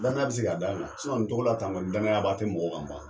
Lanaya be se ka d'an kan sinɔn nin tɔgɔla tan tɔ danaya b'a te mɔgɔw kan ban